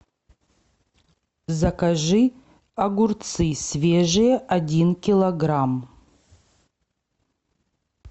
закажи огурцы свежие один килограмм